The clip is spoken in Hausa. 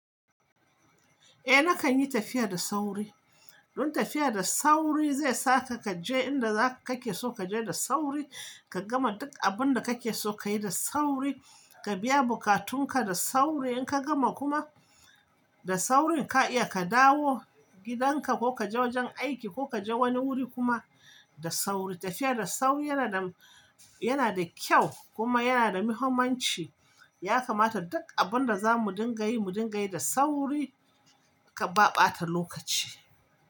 Eh nakanyi tafiya da sauri. Don tafiya da sauri zai saka kaje inda zaka ke so kaje da sauri ka gama duk abunda kakeso kayi da sauri ka biya bukatunka da sauri inka gama kuma da saurin ka iya ka dawo gidanka ko kaje wajen aiki ko kaje wani wuri kuma da sauri. Tafiya da sauri yana da, yana da kyau kuma yana da muhimmanci. Ya kamata duk abunda zamu dinga yi mu dingayi da sauri ba ɓata lokaci.